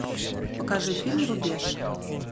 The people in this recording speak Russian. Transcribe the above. покажи фильм рубеж